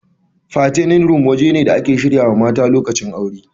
Fattening room waje ne da ake shirya mata lokacin aure.